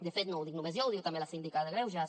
de fet no ho dic només jo ho diu també la síndica de greuges